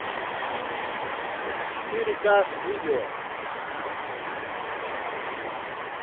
четыре ка видео